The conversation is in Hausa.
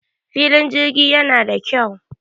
filin jirgi yana da kyau